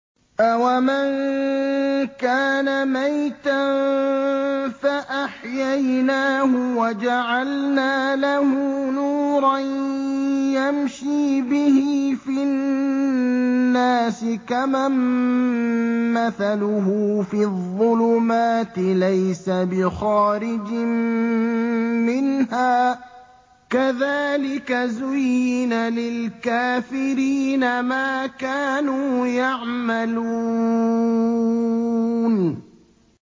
أَوَمَن كَانَ مَيْتًا فَأَحْيَيْنَاهُ وَجَعَلْنَا لَهُ نُورًا يَمْشِي بِهِ فِي النَّاسِ كَمَن مَّثَلُهُ فِي الظُّلُمَاتِ لَيْسَ بِخَارِجٍ مِّنْهَا ۚ كَذَٰلِكَ زُيِّنَ لِلْكَافِرِينَ مَا كَانُوا يَعْمَلُونَ